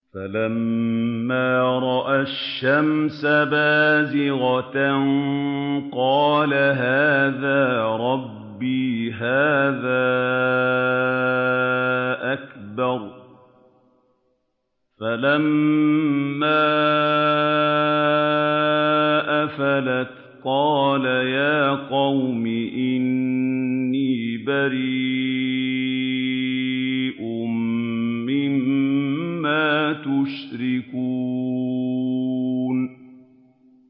فَلَمَّا رَأَى الشَّمْسَ بَازِغَةً قَالَ هَٰذَا رَبِّي هَٰذَا أَكْبَرُ ۖ فَلَمَّا أَفَلَتْ قَالَ يَا قَوْمِ إِنِّي بَرِيءٌ مِّمَّا تُشْرِكُونَ